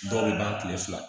Dɔw bɛ ban kile fila